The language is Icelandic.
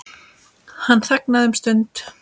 Hann þagnaði um stund.